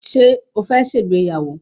Ṣé o fẹ́ ṣe ìgbéyàwó